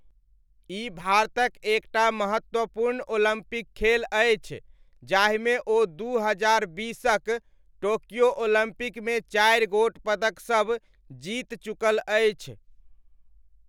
ई भारतक एक टा महत्वपूर्ण ओलम्पिक खेल अछि जाहिमे ओ दू हजार बीसकक टोक्यो ओलम्पिकमे चारि गोट पदकसब जीति चुकल अछि।